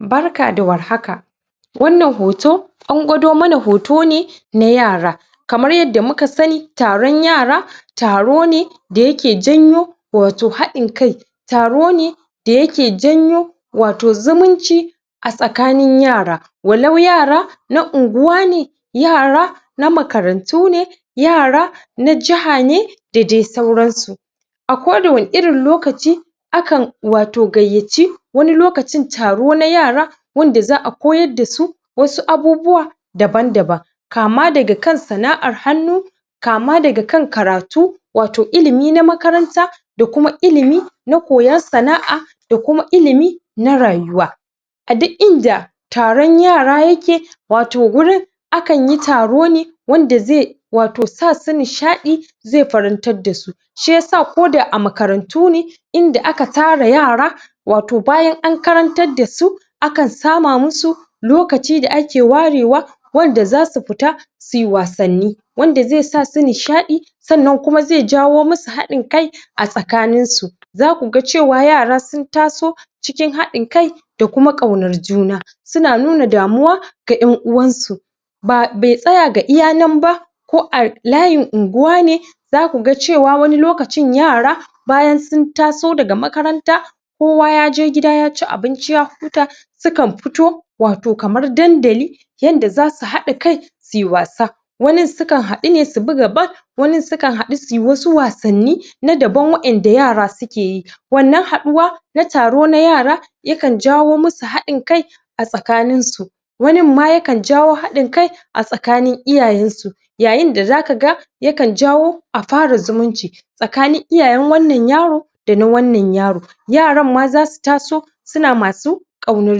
Barka da warhaka, Wannan hoto an gwado mana hoto ne na yara. Kamar yanda muka sani taron yara taro ne da yake janyo wato haɗin kai Taro ne da yake janyo wato zumunci a tsakanin yara. Walau yara na unguwa ne Yara na makarantu ne yara na jaha ne da dai sauransu. A ko da wani irin lokaci a kan wato gayyaci wani lokacin taro na yara wanda za a koyar da su wasu abubuwa daban daban. Kama daga kan sana'ar hannu, kama daga kan karatu, wato ilimi na makaranta da kuma ilimi na koyon sana'a da kuma ilimi na rayuwa. A duk inda taron yara yake wato gurin a kanyi taro ne wanda zai wato sa su nishaɗi, zai farantar da su. Shiyasa ko da a makarantu ne, inda aka tara yara wato bayan an karantar da su a kan sama musu lokaci da ake warewa wanda za su fita suyi wasanni. Wanda zai sa su nishaɗi sannan kuma zai jawo musu haɗin kai a tsakanin su. Za kuga cewa yara sun taso cikin haɗin kai da kuma ƙaunar juna, su na nuna damuwa ga ƴan uwansu Ba bai tsaya ga iya nan ba ko a layin unguwa ne za kaga cewa wani lokacin yara bayan sun taso daga makaranta kowa ya je gida ya ci abinci ya huta su kan fito wato kamar dandali yanda za su haɗa kai su yi wasa wanin sukan haɗu ne su buga ball wanin su kan haɗu suyi wasu wasanni na daban waɗanda yara suke yi. wannan haduwa na taro na yara, ya kan jawo musu haɗin kai a tsakanin su wanin ma ya kan jawo haɗin kai a tsakanin iyayen su. Yayin da za kaga yakan jawo a fara zumunci tsakanin iyayen wannan yaro da na wannan yaro Yaran ma zasu taso suna masu ƙaunar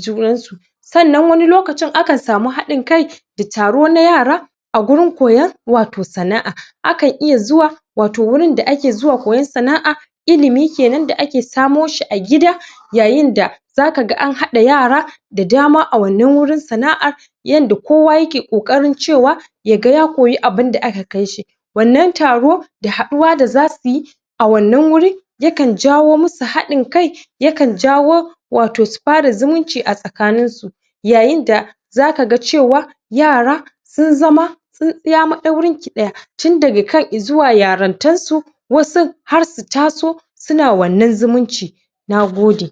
junan su. Sannan wani lokacin a kan samu hadin kai da taro na yara a gurin koyon wato sana'a. A kan iya zuwa wato wurin da ake zuwa koyon sana'a ilimi kenan da ake samo shi a gida yayinda za kaga an haɗa yara da dama a wannan wurin sana'a yanda kowa yake ƙoƙarin cewa ya ga ya koyi abinda aka kai shi wannan taron da haduwa da za suyi a wannan wuri ya kan jawo musu haɗin kai ya kan jawo wato su fara zumunci a tsakanin su Yayinda za kaga cewa yara sun zama tsintsiya maɗaurin ki ɗaya tun daga kan izuwa yarintar su wasun har su taso suna wannan zumuncin. Na gode.